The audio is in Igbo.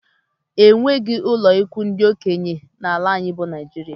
Enweghị ụlọikwuu ndị okenye n'ala anyị bụ Naijiria